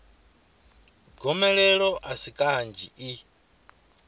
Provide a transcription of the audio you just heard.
gomelelo a si kanzhi i